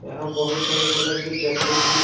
यहां बहुत सारे तरह के चॉक्लेट थी।